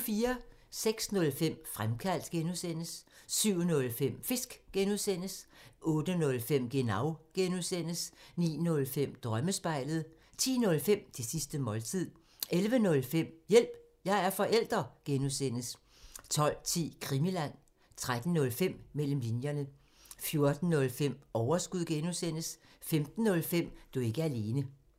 06:05: Fremkaldt (G) 07:05: Fisk (G) 08:05: Genau (G) 09:05: Drømmespejlet 10:05: Det sidste måltid 11:05: Hjælp – jeg er forælder! (G) 12:10: Krimiland 13:05: Mellem linjerne 14:05: Overskud (G) 15:05: Du er ikke alene